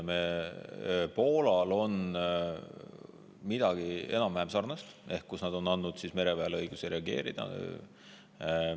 Poolal on midagi enam‑vähem sarnast, nad on andnud mereväele õiguse reageerida.